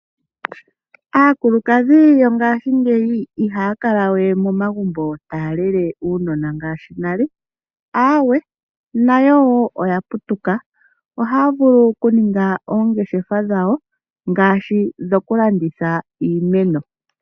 Aakulukadhi yongashingeyi ihaya kala we momagumbo taya lele uunona ngaashi nale, aawe nawo oya putuka. Ohaya vulu okuninga oongeshefa dhawo ngaashi dhokulanditha iimeno.